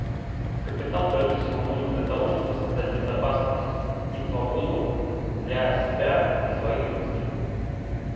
капитал прежде всего нужен для того чтобы создать безопасность и свободу для себя и своих близких